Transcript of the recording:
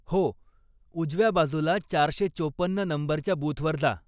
हो, उजव्या बाजूला चारशे चोपन्न नंबरच्या बूथवर जा.